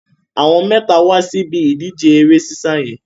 Àwọn mẹ́ta wá sí ibi ìdíje eré sísá yẹn.